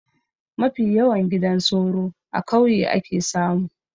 Mafi yawan gidan soro a kauye ake samu